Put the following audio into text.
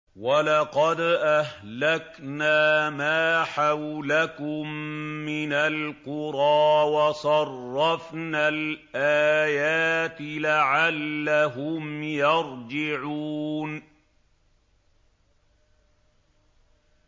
وَلَقَدْ أَهْلَكْنَا مَا حَوْلَكُم مِّنَ الْقُرَىٰ وَصَرَّفْنَا الْآيَاتِ لَعَلَّهُمْ يَرْجِعُونَ